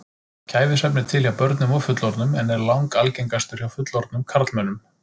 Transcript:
Kæfisvefn er til hjá börnum og fullorðnum en er langalgengastur hjá fullorðnum karlmönnum.